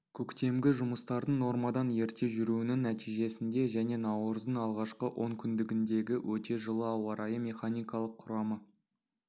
көктемгі жұмыстардың нормадан ерте жүруінің нәтижесінде және наурыздың алғашқы онкүндігіндегі өте жылы ауа райы механикалық құрамы